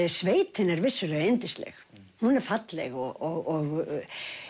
sveitin er vissulega yndisleg hún er falleg og